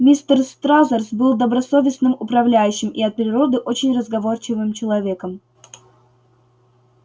мистер стразерс был добросовестным управляющим и от природы очень разговорчивым человеком